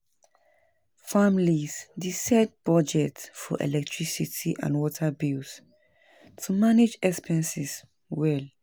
Families dey set budgets for electricity and water bills to manage expenses well.